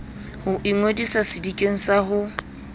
ho ingodisa sedikeng sa ho